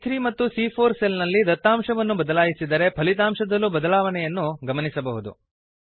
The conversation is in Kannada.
ಸಿಎ3 ಮತ್ತು ಸಿಎ4 ಸೆಲ್ ನಲ್ಲಿ ದತ್ತಾಂಶವನ್ನು ಬದಲಾಯಿಸದರೆ ಫಲಿತಾಂಶದಲ್ಲೂ ಬದಲಾವಣೆಯನ್ನು ಗಮನಿಸಬಹುದು